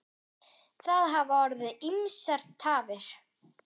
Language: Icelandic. Það hafa orðið ýmsar tafir.